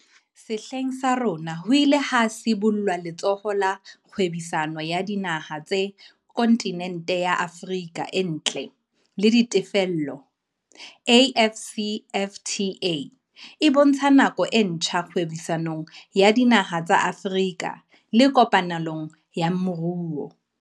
Sehleng sa rona ho ile ha sibollwa Letsholo la Kgwebisano ya Dinaha tsa Kontinente ya Afrika ntle le Ditefello, AFCFTA, e bontshang nako e ntjha kgwebisanong ya dinaha tsa Afrika le kopanelong ya moruo.